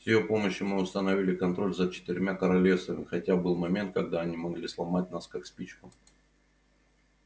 с её помощью мы установили контроль за четырьмя королевствами хотя был момент когда они могли сломать нас как спичку